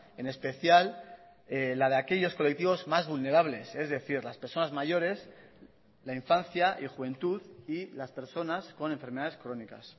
en especial la de aquellos colectivos más vulnerables es decir las personas mayores la infancia y juventud y las personas con enfermedades crónicas